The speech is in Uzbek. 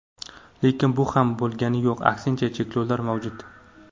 Lekin bu ham bo‘lgani yo‘q, aksincha, cheklovlar mavjud.